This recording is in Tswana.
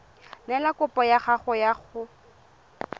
neela kopo ya gago go